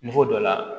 Moto dɔ la